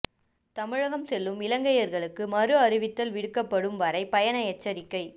தமிழகம் செல்லும் இலங்கையர்களுக்கு மறு அறிவித்தல் விடுக்கப்படும் வரை பயண எச்சரிக்கை